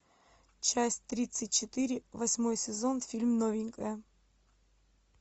часть тридцать четыре восьмой сезон фильм новенькая